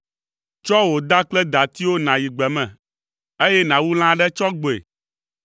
Tsɔ wò da kple datiwo nàyi gbe me, eye nàwu lã aɖe tsɔ gbɔe.